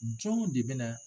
Jɔn de bɛ na